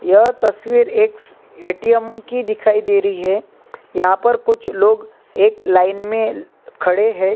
ये तस्वीर एक एटीएम की दिखाई दे रही है यहाँ पर कुछ लोग एक लाइन में ल..खड़े है।